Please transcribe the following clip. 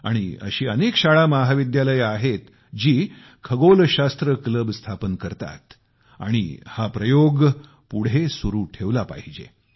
आणि अशी अनेक शाळामहाविद्यालये आहेत जी खगोलशास्त्र क्लब स्थापन करतात आणि हा प्रयोग पुढे सुरु ठेवला पाहिजे